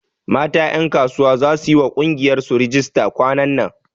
Mata ƴankasuwa za su yiwa ƙungiyar su rijista kwanan nan